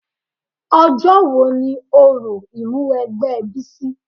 Ọjọ́ wo ni òrò Ìmúwẹgbẹ́ Bísí?